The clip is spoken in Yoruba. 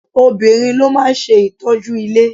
Obìnrin ló máa ń ṣe ìtọ́jú ilé.